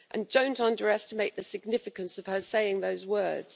And don't underestimate the significance of her saying those words.